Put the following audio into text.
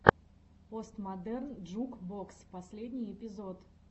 постмодерн джук бокс последний эпизод